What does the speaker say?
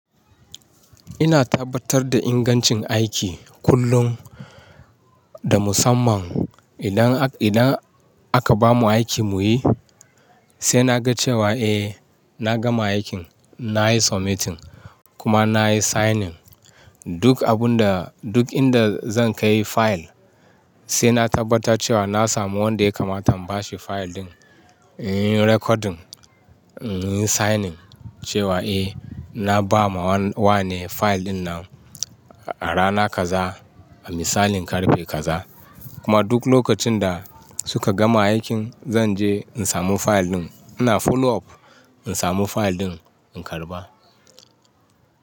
Ina tabbatar da ingancin aiki kullum da musamman idan, idan aka bamu aiki mu yi sai na ga cewa eh na gama aikin. Na yi submitting kuma na yi signing duk abun da duk inda zan kai fayil sai na tabbatar cewa na samu wanda ya kamata in ba shi fayil ɗin, in yi recording, in yi signing cewa eh na ba ma wa ne fayil ɗin nan a rana kaza, misalin karfe kaza. Kuma duk lokacin da suka gama aikin zan je in samu fayil ɗin. Ina follow up in samu fayil ɗin in karɓa.